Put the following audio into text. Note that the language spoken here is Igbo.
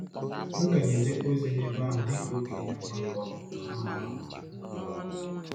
M ka na-ejekwa ozi n’ebe ahụ dị ka okenye ọgbakọ um.